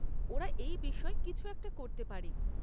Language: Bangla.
ওরা এই বিষয় কিছু একটা করতে পারে।